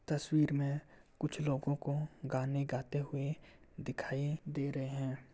तस्वीर में कुछ लोगों को गाने गाते हुए दिखायी दे रहे हैं।